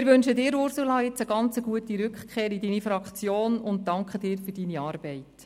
Wir wünschen Ihnen, Ursula Zybach, eine ganz gute Rückkehr in Ihre Fraktion und danken Ihnen für Ihre Arbeit.